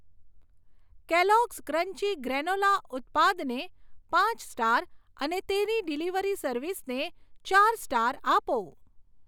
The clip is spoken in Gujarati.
કેલોગ્સ ક્રન્ચી ગ્રેનોલા ઉત્પાદને પાંચ સ્ટાર અને તેની ડિલિવરી સર્વિસને ચાર સ્ટાર આપો.